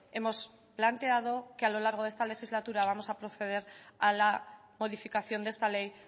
hemos planteado que a lo largo de esta legislatura vamos a proceder a la modificación de esta ley